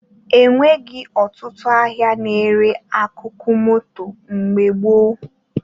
E nwebghị ọtụtụ ahịa na-ere akụkụ moto mgbe gboo